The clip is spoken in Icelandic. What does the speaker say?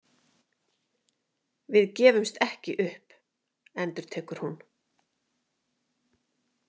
Við gefumst ekki upp, endurtekur hún.